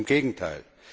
Im Gegenteil!